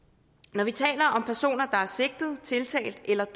når vi taler om personer der er sigtet tiltalt eller